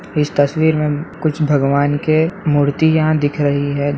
इस तस्वीर में कुछ भगवान के मूर्तियाँ दिख रही है।